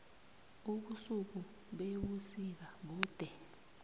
ubusuku bebusika bude